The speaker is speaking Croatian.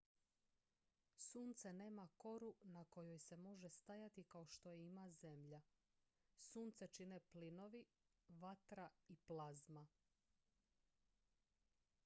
sunce nema koru na kojoj se može stajati kao što je ima zemlja sunce čine plinovi vatra i plazma